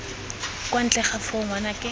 kwa ntle ga foo ngwanake